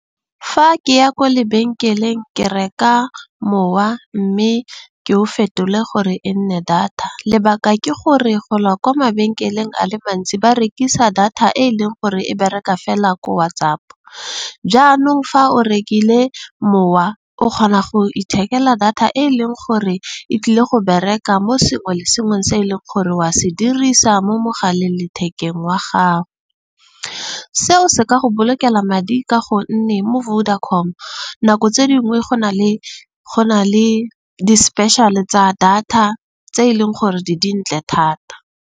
Fa ke ya ko lebenkeleng ke reka mowa. Mme ke o fetole gore e nne data, lebaka ke gore gola kwa mabenkeleng a le mantsi ba rekisa data e e leng gore e bereka fela ko WhatsApp. Jaanong fa o rekile mowa o kgona go ithekela data e leng gore e tlile go bereka mo sengwe le sengwe se e leng gore wa se dirisa mo mogaleng lethekeng wa gago. Seo se ka go bolokela madi. Ka gonne mo Vodacom nako tse dingwe go na le di-special-e tsa data tse e leng gore di dintle thata.